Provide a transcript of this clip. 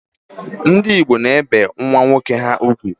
Ndị Igbo na-ebi nwa nwoke ha ugwu.